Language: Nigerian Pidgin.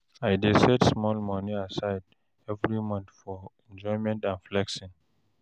I dey set small money aside every month for enjoyment and flexing.